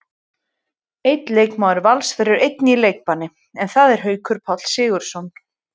Einn leikmaður Vals verður einnig í leikbanni, en það er Haukur Páll Sigurðsson.